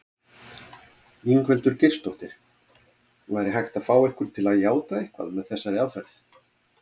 Ingveldur Geirsdóttir: Væri hægt að fá ykkur til játa eitthvað með þessari aðferð?